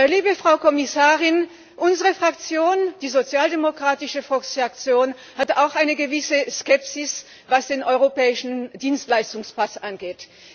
Liebe Frau Kommissarin, unsere Fraktion, die Sozialdemokratische Fraktion, hat auch eine gewisse Skepsis, was den europäischen Dienstleistungspass angeht.